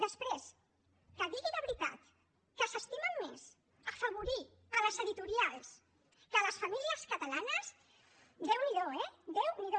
després que digui de veritat que s’estimen més afavorir les editorials que a les famílies catalanes déu n’hi do eh déu n’hi do